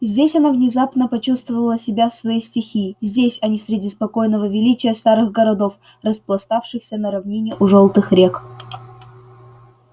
здесь она внезапно почувствовала себя в своей стихии здесь а не среди спокойного величия старых городов распластавшихся на равнине у жёлтых рек